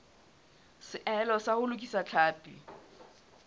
seahelo sa ho lokisa tlhapi